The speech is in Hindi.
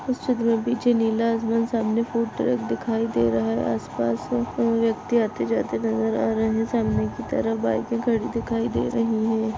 इस चित्र के पीछे नीला आसमान सामने फूड ट्रैक दिखाई दे रहा है आसपास कोई व्यक्ति आते जाते नजर आ रहे है सामने की तरफ बाइके खडी दिखाई दे रही है।